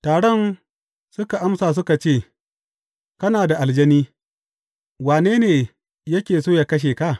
Taron suka amsa suka ce, Kana da aljani, wane ne yake so yă kashe ka?